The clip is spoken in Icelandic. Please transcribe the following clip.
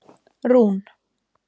Rún